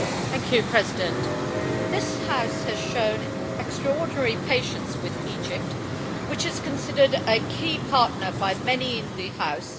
Mr President, this House has shown extraordinary patience with Egypt, which is considered a key partner by many in the House.